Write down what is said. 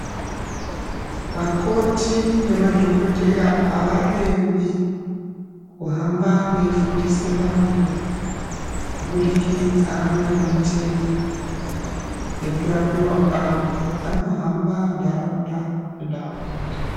Vakoti nemadhogodheya havarembi kuhamba veifundisa antu kubudikida ngematenda nekurapiva kwavo, vanohamba nharaunda nenharaunda.